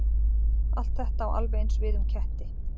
Allt þetta á alveg eins við um ketti.